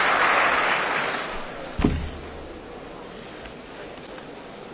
Szanowny Panie Prezydencie, Koleżanki i Koledzy,